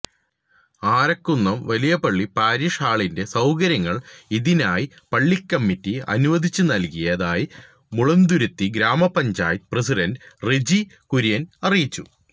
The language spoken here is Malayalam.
ആരക്കുന്നം വലിയപള്ളി പാരിഷ് ഹാളിന്റെ സൌകര്യങ്ങൾ ഇതിനായി പള്ളിക്കമ്മിറ്റി അനുവദിച്ചുനൽകിയതായി മുളന്തുരുത്തി ഗ്രാമപ്പഞ്ചായത്ത് പ്രസിഡന്റ് റെഞ്ചി കുര്യൻ അറിയിച്ചു